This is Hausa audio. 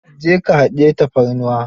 Je ka ka hadiyi tafarnuwa.